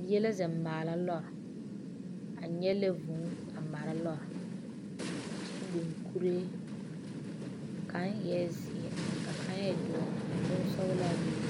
Bie la zeŋ maala lɔɔre a nyɛlɛ vuu a mara lɔre kyɛ biŋ kuree kaŋa eɛ zeɛ ka kaŋ e doɔre ka bonsɔglaa be be